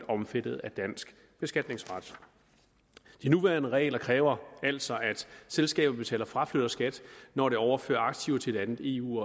omfattet af dansk beskatningsret de nuværende regler kræver altså at selskabet betaler fraflytterskat når det overfører aktiver til et andet eu